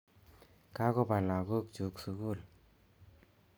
Kakopa lagok chuk sukul